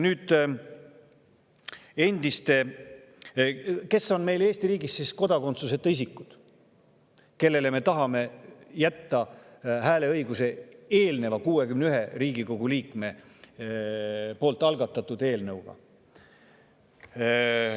Nüüd, kes on Eesti riigis kodakondsuseta isikud, kellele me tahame jätta hääleõiguse 61 Riigikogu liikme poolt algatatud eelmise eelnõuga?